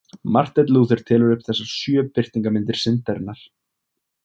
Marteinn Lúther telur upp þessar sjö birtingarmyndir syndarinnar.